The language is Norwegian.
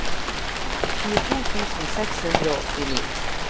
tjueto tusen seks hundre og åttini